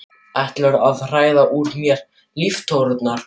Ætlarðu að hræða úr mér líftóruna?